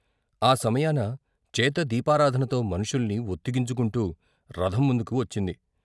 ఆ సమయాన చేత దీపా రాధనతో మనుషుల్ని వొత్తిగించుకుంటూ రథం ముందుకు వచ్చింది.